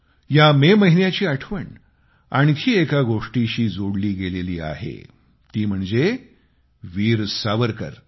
या मे महिन्याची आठवण आणखी एका गोष्टीशी जोडली गेलेली आहे ती म्हणजे वीर सावरकर